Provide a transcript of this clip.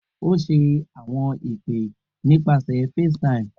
O ṣe awọn ipe nipasẹ FaceTime